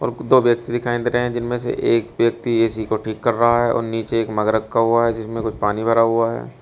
दो व्यक्ति दिखाई दे रहे है जिनमें से एक व्यक्ती ए_सी को ठीक कर रहा है और नीचे एक मग रखा हुआ है जिसमें कुछ पानी भरा हुआ है।